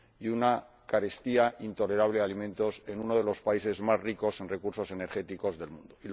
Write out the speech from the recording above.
una carestía intolerable de alimentos en uno de los países más ricos en recursos energéticos del mundo